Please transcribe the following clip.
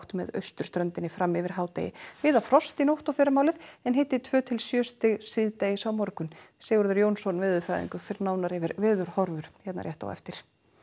með austurströndinni fram yfir hádegi víða frost í nótt og fyrramálið en hiti tvö til sjö stig síðdegis á morgun Sigurður Jónsson veðurfræðingur fer nánar yfir veðurhorfur hér rétt á eftir